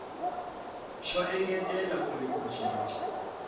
xo engetela kumbe ku cinca